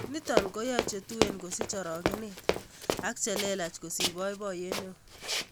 Nito koyoei chetuen kosich orogenet ak che lelach kosich boiboiyet neo